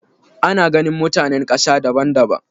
Ana ganin mutanen ƙasa daban daban.